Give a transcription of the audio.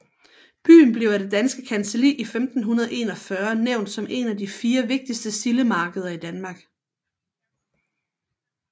Byen blev af det danske kancelli i 1541 nævnt som et af de fire vigtigste sildemarkeder i Danmark